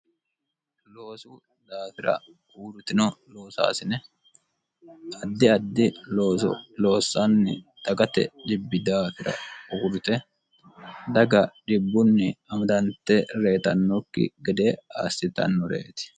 loosu daafira uurritino loosaasine addi addi loossanni daqate dibbi daafira uurrite daga dhibbunni amadante reyixannokki gede aassitannoreeti